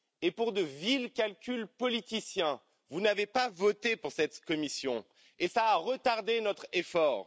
Mais pour de vils calculs politiciens, vous n'avez pas voté pour cette commission, ce qui a retardé notre effort.